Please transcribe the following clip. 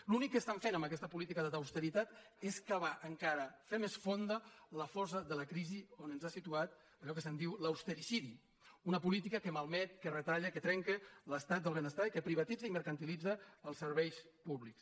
l’únic que fan amb aquesta política d’austeritat és cavar encara fer més fonda la fossa de la crisi on ens ha situat allò que se’n diu l’ austericidi una política que malmet que retalla que trenca l’estat del benestar i que privatitza i mercantilitza els serveis públics